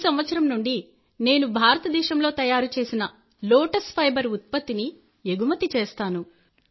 ఈ సంవత్సరం నుండి నేను భారతదేశంలో తయారు చేసిన లోటస్ ఫైబర్ ఉత్పత్తిని ఎగుమతి చేస్తాను